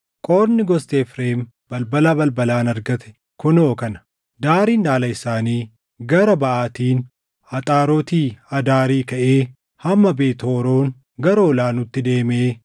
Qoodni gosti Efreem balbala balbalaan argatte kunoo kana: Daariin dhaala isaanii gara baʼaatiin Axaaroti Adaarii kaʼee hamma Beet Horoon gara Ol aanuutti deemee